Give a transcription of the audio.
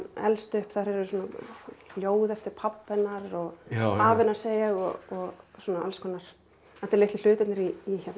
elst upp þar eru ljóð eftir pabba hennar afa hennar segi ég og alls konar litlu hlutirnir í